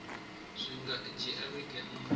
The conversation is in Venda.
zwi nga dzhia vhege nṋa